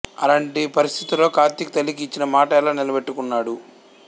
అలాంటి పరిస్ధుతుల్లో కార్తీక్ తల్లికి ఇచ్చిన మాట ఎలా నిలబెట్టుకున్నాడు